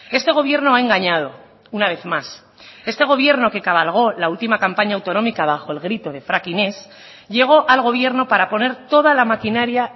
este gobierno ha engañado una vez más este gobierno que cabalgó la última campaña autonómica bajo el grito de fracking ez llegó al gobierno para poner toda la maquinaria